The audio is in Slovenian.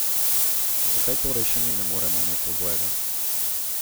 Zakaj torej še mi ne moremo imeti obojega?